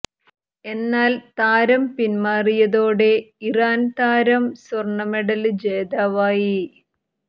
എന്നാൽ താരം പിന്മാറിയതോടെ ഇറാന് താരം സ്വര്ണ മെഡല് ജേതാവായി